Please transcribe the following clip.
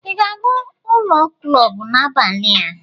ị ga-aga ụlọ klọb n'abalị a?